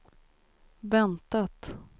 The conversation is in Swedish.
väntat